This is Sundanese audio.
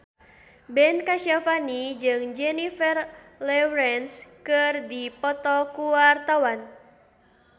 Ben Kasyafani jeung Jennifer Lawrence keur dipoto ku wartawan